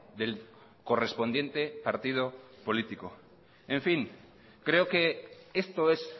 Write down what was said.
del correspondiente partido político en fin creo que esto es